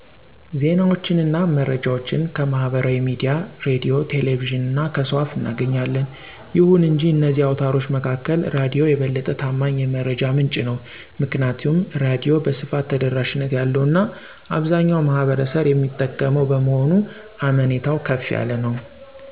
ዜናዋችንና መረጃዋችን ከማህበራዊ ሚዲያ፣ ራዲዮ፣ ቴሌቪዥን እና ከሰው አፍ እናገኛለን። ይሁን እንጂ ከነዚህ አውታሮች መካከል ራዲዮ የበለጠ ታማኝ የመረጃ ምንጪ ነው። ምክንያቱም ራዲዮ በስፋት ተደራሽነት ያለው እና አብዛኛው ማህበረሰብ የሚጠቀመው በመሆኑ አሜኔታው ከፍ ያለ ነው።